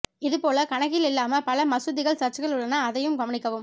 இது போல கணக்கில் இல்லாம பல மசூதிகள் சர்ச்சுகள் உள்ளன அதையும் கவனிக்கணும்